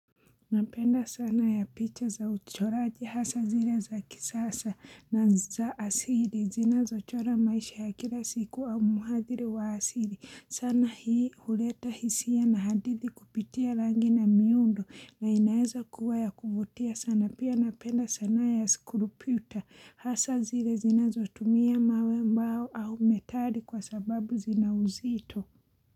Napenda sanaa ya picha za uchoraji, hasa zile za kisasa na za asili. Zinazochora maisha ya kila siku au muhadhiri wa asili. Sana hii huleta hisia na hadithi kupitia rangi na miundo na inaeza kuwa ya kuvutia sana. Pia napenda sanaa ya skulupiuta. Hasa zile zinazotumia mawe ambao au metali kwa sababu zina uzito.